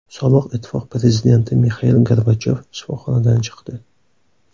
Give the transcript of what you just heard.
Sobiq Ittifoq prezidenti Mixail Gorbachyov shifoxonadan chiqdi.